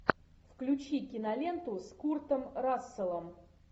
включи киноленту с куртом расселом